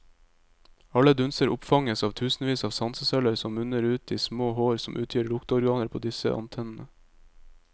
Alle dunster oppfanges av tusenvis av sanseceller som munner ut i små hår som utgjør lukteorganet på disse antennene.